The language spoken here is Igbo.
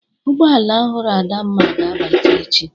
Ụgbọ ala ọhụrụ Adamma ga-abata echi.